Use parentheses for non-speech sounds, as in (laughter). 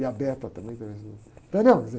E a (unintelligible) também, (unintelligible)